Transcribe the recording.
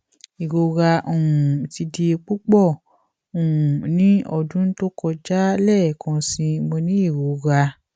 irora um ti di pupọ um ni ọdun to kọja lẹẹkansi mo ni irora